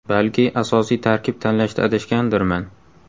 Balki, asosiy tarkib tanlashda adashgandirman.